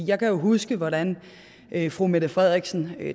jeg kan jo huske hvordan fru mette frederiksen